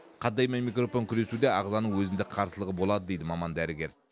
қандай мен микробпен күресуде ағзаның өзіндік қарсылығы болады дейді маман дәрігер